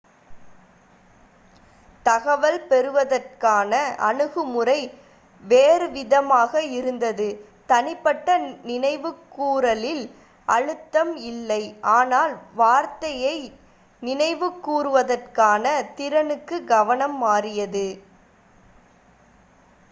தகவல் பெறுவதற்கான அணுகுமுறை வேறுவிதமாக இருந்தது தனிப்பட்ட நினைவுகூறலில் அழுத்தம் இல்லை ஆனால் வார்த்தையை நினைவுகூறுவதற்கான திறனுக்கு கவனம் மாறியது